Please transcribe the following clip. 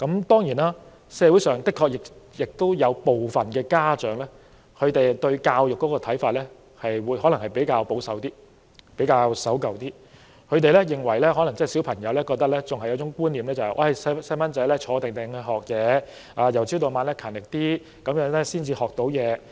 當然，社會上的確有部分家長對教育的看法較為保守、守舊，他們可能仍然抱有一種觀念，認為孩子應該安坐學習，由早到晚也要很勤力才可以學到知識。